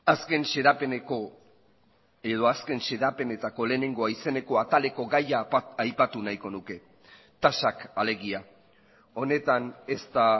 azken xedapeneko edo azken xedapenetako lehenengoa izeneko ataleko gaia aipatu nahiko nuke tasak alegia honetan ez da